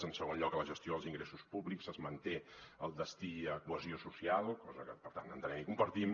en segon lloc a la gestió dels ingressos públics es manté el destí a cohesió social cosa que per tant entenem i compartim